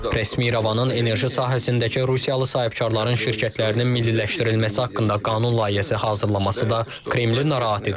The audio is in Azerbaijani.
Rəsmi İrəvanın enerji sahəsindəki Rusiyalı sahibkarların şirkətlərinin milliləşdirilməsi haqqında qanun layihəsi hazırlaması da Kremli narahat edir.